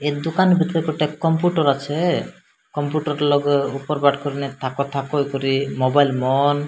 ଏ ଦୋକାନ ପଛ ପାଖେ ଗୋଟେ କମ୍ପୁଟର ଅଛେ। କମ୍ପୁଟର ଲଗେ ଉପର ପାର୍ଟ କରିନେ ଥାକ ଥାକ କରି ମୋବାଇଲ ମୋନ --